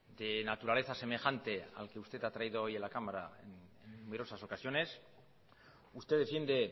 de naturaleza semejante al que usted ha traído hoy en la cámara numerosas ocasiones usted defiende